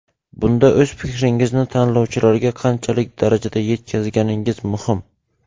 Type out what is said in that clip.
Bunda o‘z fikringizni tinglovchilarga qanchalik darajada yetkazganingiz muhim.